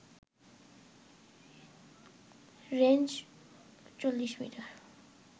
range ৪০ metre